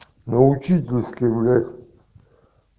на учительской гулять